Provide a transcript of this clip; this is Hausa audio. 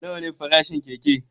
Nawa ne farashin keke?